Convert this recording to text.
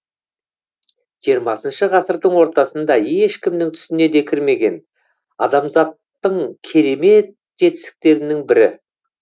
жиырмасыншы ғасырдың ортасында ешкімнің түсіне де кірмеген адамзаттың керемет жетістіктерінің бірі